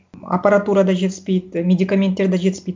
аппаратура да жетіспейді медикаменттер де жетіспейді